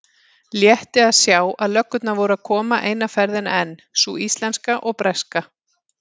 Létti að sjá að löggurnar voru að koma eina ferðina enn, sú íslenska og breska.